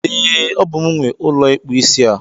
E, Ọ bú m nwe ụlọ ikpu isi a.